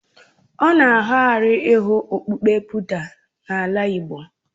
Ọ na ara ahụ ị hụ onye okpukpe Buda n'ala igbo.